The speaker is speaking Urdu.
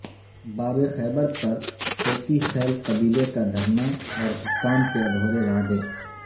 باب خیبر پر کوکی خیل قبیلے کا دھرنا اور حکام کے ادھورے وعدے